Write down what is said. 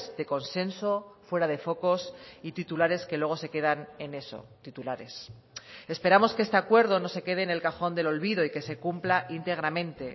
de consenso fuera de focos y titulares que luego se quedan en eso titulares esperamos que este acuerdo no se quede en el cajón del olvido y que se cumpla íntegramente